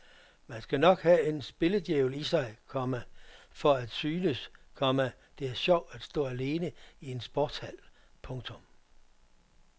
Man skal nok have en spilledjævel i sig, komma for at syntes, komma det er sjovt at stå alene i en sportshal. punktum